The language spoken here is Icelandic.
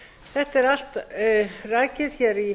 þetta er allt rakið hér í